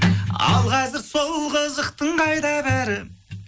ал қазір сол қызықтың қайда бәрі